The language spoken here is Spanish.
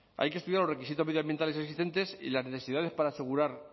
hay que estudiar los requisitos medioambientales existentes y las necesidades para asegurar